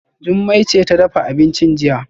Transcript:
Jummai ce ta dafa abincin jiya